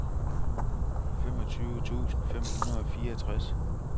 femogtyve tusind fem hundrede og fireogtres